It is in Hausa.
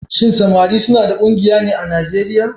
Shin samari suna da ƙungiya ne a Nijeriya?